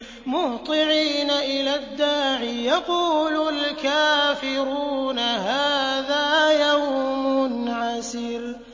مُّهْطِعِينَ إِلَى الدَّاعِ ۖ يَقُولُ الْكَافِرُونَ هَٰذَا يَوْمٌ عَسِرٌ